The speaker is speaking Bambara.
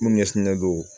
Minnu ɲɛsinnen don